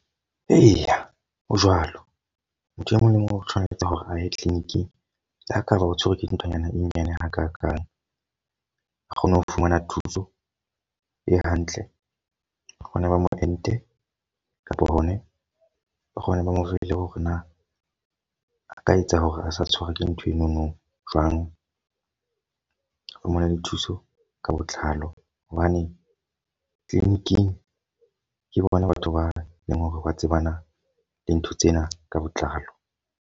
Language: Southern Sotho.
Eya, ho jwalo. Motho e mong le mong o tshwanetse hore a ye clinic-ing. Le ha e ka ba o tshwerwe ke dinthonyana e nyane hakakang. A kgone ho fumana thuso e hantle hona ba mo ente kapa hona o kgone ho ba mo fe le hore na a ka etsa hore a se tshwarwe ke ntho eno no jwang. Fumana le thuso ka botlalo hobane clinic-ing ke bona batho ba leng hore ba tsebana le ntho tsena ka botlalo.